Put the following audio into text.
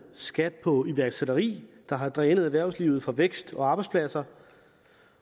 skat på iværksætteri der har drænet erhvervslivet for vækst og arbejdspladser